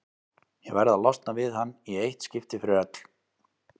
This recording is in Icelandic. Ég verð að losna við hann í eitt skipti fyrir öll.